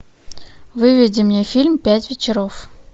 выведи мне фильм пять вечеров